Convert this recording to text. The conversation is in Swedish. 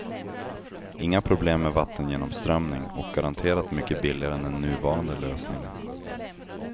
Inga problem med vattengenomströmning och garanterat mycket billigare än den nuvarande lösningen.